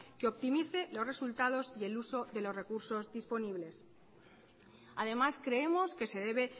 que optimice los resultados y el uso de los recursos disponibles además creemos que se debe